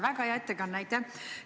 Väga hea ettekanne, aitäh!